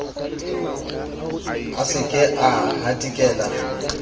a se ke a hatikela